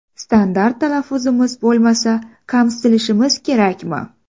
Standart talaffuzimiz bo‘lmasa, kamsitilishimiz kerakmi?